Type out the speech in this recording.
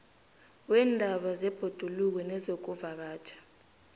weendaba zebhoduluko nezokuvakatjha